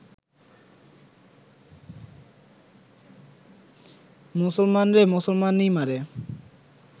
মুসলমানরে মুসলমানই মারে